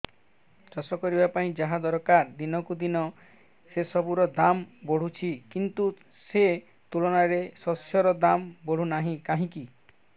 ଚାଷ କରିବା ପାଇଁ ଯାହା ଦରକାର ଦିନକୁ ଦିନ ସେସବୁ ର ଦାମ୍ ବଢୁଛି କିନ୍ତୁ ସେ ତୁଳନାରେ ଶସ୍ୟର ଦାମ୍ ବଢୁନାହିଁ କାହିଁକି